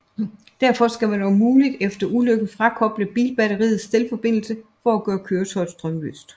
Derfor skal man om muligt efter ulykken frakoble bilbatteriets stelforbindelse for at gøre køretøjet strømløst